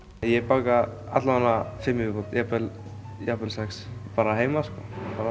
ég baka alla vega fimm í viðbót jafnvel jafnvel sex bara heima sko